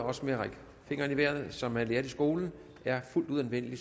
også at række fingeren i vejret som man lærte i skolen er fuldt ud anvendelig